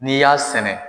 N'i y'a sɛnɛ